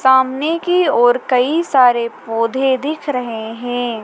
सामने की ओर कई सारे पौधे दिख रहे हैं।